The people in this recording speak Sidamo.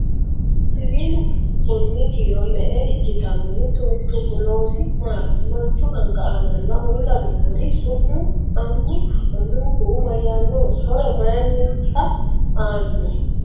Siwiillu konni kiiro me'e ikkitanno? Mittu mittunku loosi maatti? Manchu anga aannaanna uulla noori su'mi annu anunkuhu mayaannoha? horo mayiinnitta aanno?